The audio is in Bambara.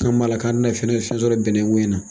An k'u m'a la nka dina fɛnɛ fɛn sɔrɔ bɛnnɛ koyi in na.